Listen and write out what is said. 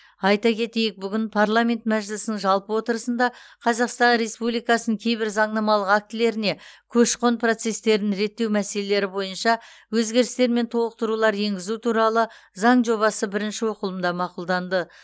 айта кетейік бүгін парламент мәжілісінің жалпы отырысында қазақстан республикасының кейбір заңнамалық актілеріне көші қон процестерін реттеу мәселелері бойынша өзгерістер мен толықтырулар енгізу туралы заң жобасы бірінші оқылымда мақұлданды